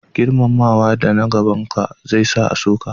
Girmamawa da na gaban ka zai sa a so ki